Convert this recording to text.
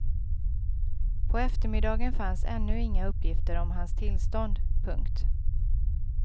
På eftermiddagen fanns ännu inga uppgifter om hans tillstånd. punkt